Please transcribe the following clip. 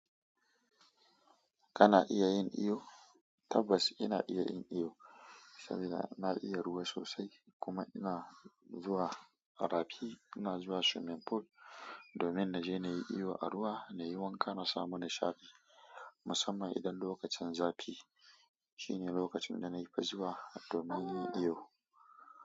Kana iya yin iyo? Tabbas ina iya yin iyo saboda na iya ruwa sosai kuma ina zuwa a rafi. Ina zuwa swimming pool domin naje na yi iyo a ruwa na yi wanka na samu nishaɗi. Musamman idan lokacin zafi shine lokacin da na fi zuwa domin yin iyo.